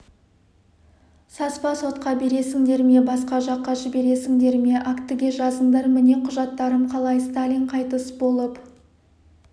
саспа сотқа бересіңдер ме басқа жаққа жібересіңдер ме актіге жазыңдар міне құжаттарым қалай сталин қайтыс болып